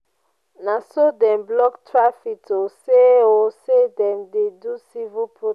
na so dem block traffic o sey o sey dem dey do civil protest.